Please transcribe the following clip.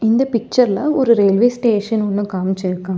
இந்த பிச்சர்ல ஒரு ரயில்வே ஸ்டேஷன் ஒன்னு காமிச்சி இருக்கா --